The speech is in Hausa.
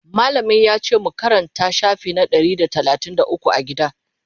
mallamin yace mu Karanta shafi na Ɗari da talatin da ukwu a gida?